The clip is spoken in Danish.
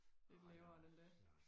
lidt lavere end det